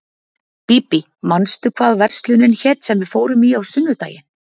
Bíbí, manstu hvað verslunin hét sem við fórum í á sunnudaginn?